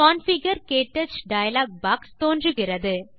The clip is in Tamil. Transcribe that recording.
கான்ஃபிகர் - க்டச் டயலாக் பாக்ஸ் தோன்றுகிறது